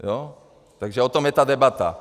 Takže o tom je ta debata.